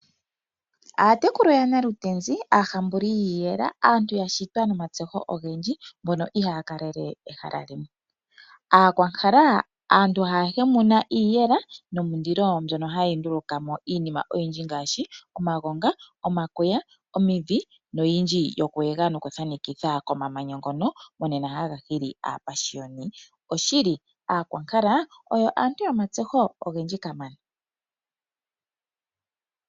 Aatekulu yaNalutenzi, aahambuli yiiyela, aantu ya shitwa nomatseho ogendji, mbono ihaa kalele ehala limwe. Aakwankala, aantu haa hemuna iiyela nomulilo, mbyono haya nduluka mo iinima oyindji ngaashi omagonga, omakuya, omidhi noyindji yokuyela nokuthanekitha komamanya ngono monena haga hili aapashiyoni. Osholi Aakwankala oyo aantu yomatseho ogendji kamana.